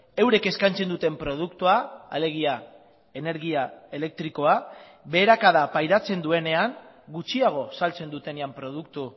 eurek eskaintzen duten produktua alegia energia elektrikoa beherakada pairatzen duenean gutxiago saltzen dutenean produktu